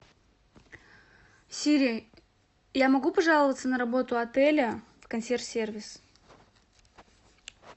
сири я могу пожаловаться на работу отеля в консьерж сервис